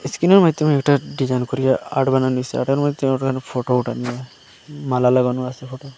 ইস্কিনের মাইধ্যমে একটা ডিজাইন করিয়া আটবেনা নিসসই ফটো ওঠেনা মালা লাগানো আসে ফটোয়।